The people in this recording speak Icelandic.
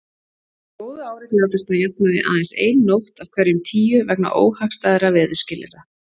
Á góðu ári glatast að jafnaði aðeins ein nótt af hverjum tíu vegna óhagstæðra veðurskilyrða.